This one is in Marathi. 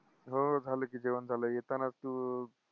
हम्म झालं की जेवण झालं येतानाच तू